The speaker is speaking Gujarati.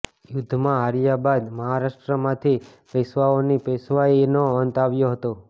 યુદ્ધમાં હાર્યા બાદ મહારાષ્ટ્રમાંથી પેશ્વાઓની પેશ્વાઈનો અંત આવ્યો હતો